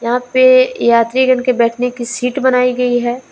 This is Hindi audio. आ पे यात्रीगण के बैठने की सीट बनाई गई है।